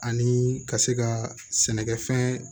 Ani ka se ka sɛnɛkɛfɛn